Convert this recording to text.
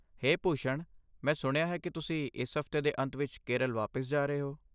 ਹੇ ਭੂਸ਼ਣ, ਮੈਂ ਸੁਣਿਆ ਹੈ ਕਿ ਤੁਸੀਂ ਇਸ ਹਫਤੇ ਦੇ ਅੰਤ ਵਿੱਚ ਕੇਰਲ ਵਾਪਸ ਜਾ ਰਹੇ ਹੋ।